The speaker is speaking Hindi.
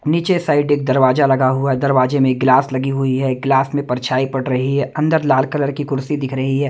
नीचे साइड एक दरवाजा लगा हुआ दरवाजे में गिलास लगी हुई है गिलास में परछाई पड़ रही है अंदर लाल कलर की कुर्सी दिख रही है।